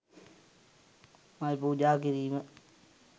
මල් පූජා කිරීම